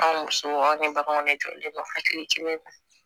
An musow an bɛ baganw lajɔ hakili ci ne ma